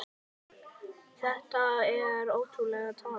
Þetta er ótrúleg tala.